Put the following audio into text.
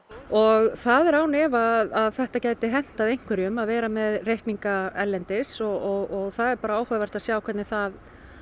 og það er án efa að þetta gæti hentað einhverjum að vera með reikninga erlendis og það er bara áhugavert að sjá hvernig það